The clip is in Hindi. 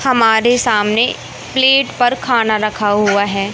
हमारे सामने प्लेट पर खाना रखा हुआ है।